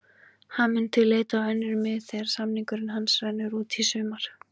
Hann mun því leita á önnur mið þegar samningur hans rennur út í sumar.